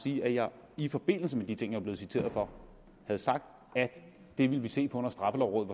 sige at jeg i forbindelse med de ting jeg var blevet citeret for havde sagt at det ville vi se på når straffelovrådet